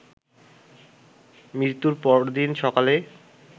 মৃত্যুর পরদিন সকালে